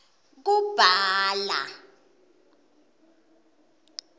kubhala